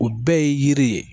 O bɛɛ ye yiri ye